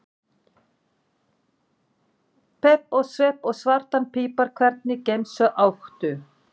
Pepp og svepp og svartan pipar Hvernig gemsa áttu?